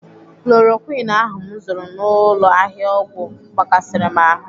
Chloroquine ahụ m zụrụ n'ụlọ ahịa ọgwụ gbakasịrị m ahụ.